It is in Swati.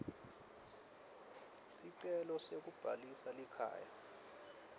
sicelo sekubhalisa likhaya